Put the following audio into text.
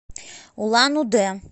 улан удэ